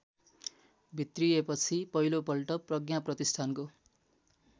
भित्रिएपछि पहिलोपल्ट प्रज्ञाप्रतिष्ठानको